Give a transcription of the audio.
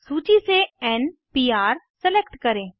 सूची से n PR select करें